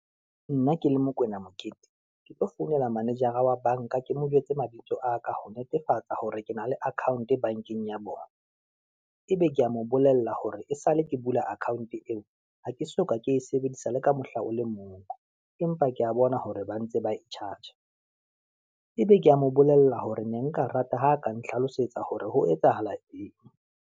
Nna ke le Mokoena Mokete, ke tlo founela manejara wa bank-a ke mo jwetse mabitso a ka ho netefatsa hore ke na le account bankeng ya bona. Ebe kea mo bolella hore esale ke bula account-e eo, ha ke soka ke e sebedisa le ka mohla o le mong, empa ke ya bona hore ba ntse ba e charge-a. Ebe ke ya mo bolella hore ne nka rata ho ka nhlalosetsa hore ho etsahala eng.